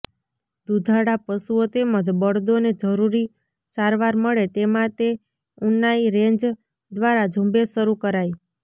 દુધાળા પશુઓ તેમજ બળદોને જરૂરી સારવાર મળે તે માટે ઉનાઇ રેન્જ દ્વારા ઝુંબેશ શરૂ કરાઈ